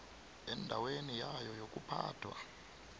endaweni yayo yokuphathwa